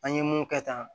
An ye mun kɛ tan